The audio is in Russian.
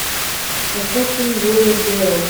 поставь фильм глория белл